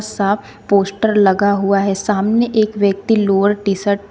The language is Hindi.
सा पोस्टर लगा हुआ है सामने एक व्यक्ति लोअर टीशर्ट ।